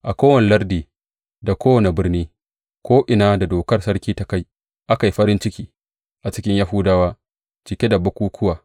A kowane lardi da kowace birni, ko’ina da dokar sarki ta kai, aka yi farin ciki a cikin Yahudawa, cike da bukukkuwa.